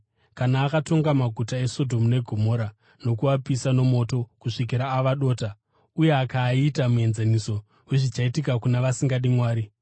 kana akatonga maguta eSodhomu neGomora nokuapisa nomoto kusvikira ava dota, uye akaaita muenzaniso wezvichaitika kuna vasingadi Mwari;